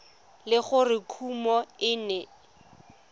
le gore kumo e ne